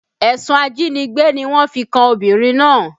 Ẹ̀sùn ajínigbé ni wọ́n fi kan obìnrin náà